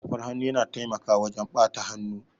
Safar hannu yana taimakawa wajan ɓata hannu